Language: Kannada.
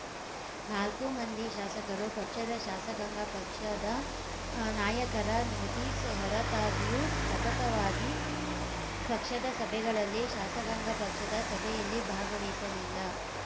ನಾಲ್ಕೂ ಮಂದಿ ಶಾಸಕರು ಪಕ್ಷದ ಶಾಸಕಾಂಗ ಪಕ್ಷದ ನಾಯಕರ ನೋಟಿಸ್‌ ಹೊರತಾಗಿಯೂ ಸತತವಾಗಿ ಪಕ್ಷದ ಸಭೆಗಳಲ್ಲಿ ಶಾಸಕಾಂಗ ಪಕ್ಷದ ಸಭೆಯಲ್ಲಿ ಭಾಗವಹಿಸಿಲಿಲ್ಲ